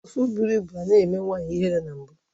Afọ bụrụ ịbụ anaghị eme nwanyị ihere na mbụ